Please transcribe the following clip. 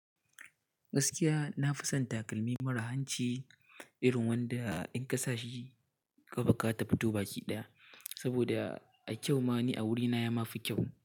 Gaskiya na fi son takalmi mara hanci irin wanda in ka sa shi kaɓa ka tafi tubaki ɗaya, saboda a kyau ma ni a wurina ya mafi kyau.